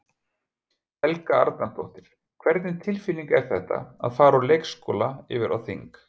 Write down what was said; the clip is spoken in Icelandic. Helga Arnardóttir: Hvernig tilfinning er þetta, að fara úr leikskóla yfir á þing?